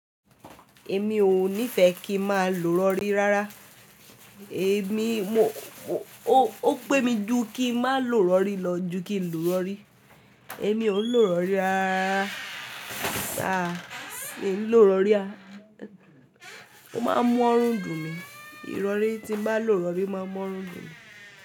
Èmi ò ní fẹ́ kí n máa lò iròrí rárá. Èmi, mo, ó pẹ́ mi jù kí n má lò iròrí lọ ju kí n lò iròrí. Èmi ò ń lò iròrí rárá. Aà, mi ò ń lò iròrí, ó máa ń mọ́run dùn mi. Ìrọ̀rí tí n bá lòròrí o máa ń mọ́run dùn mi.